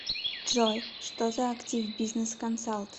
джой что за активбизнесконсалт